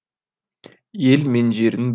ел мен жердің